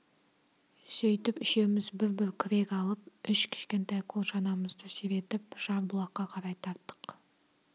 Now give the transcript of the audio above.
сөйтіп үшеуміз бір-бір күрек алып үш кішкентай қол шанамызды сүйретіп жарбұлаққа қарай тарттық